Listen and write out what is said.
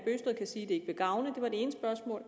ikke gavne det var det ene spørgsmål